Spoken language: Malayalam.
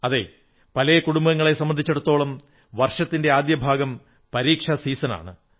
അതെ പല കുടുംബങ്ങളെയും സംബന്ധിച്ചിടത്തോളം വർഷത്തിന്റെ ആദ്യഭാഗം പരീക്ഷാ സീസണാണ്